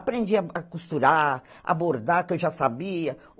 Aprendi a a costurar, a bordar, que eu já sabia.